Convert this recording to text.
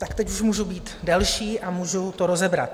Tak teď už můžu být delší a můžu to rozebrat.